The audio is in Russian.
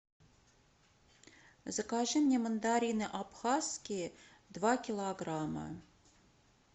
закажи мне мандарины абхазские два килограмма